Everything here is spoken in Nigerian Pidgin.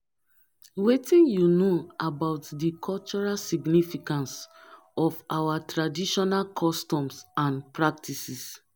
wetin you know about di cultural significance of our traditional customs and practices.